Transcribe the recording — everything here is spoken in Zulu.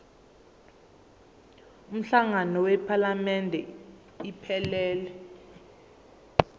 umhlangano wephalamende iphelele